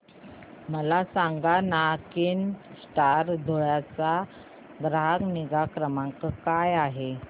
मला सांगाना केनस्टार धुळे चा ग्राहक निगा क्रमांक काय आहे